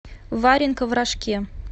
варенка в рожке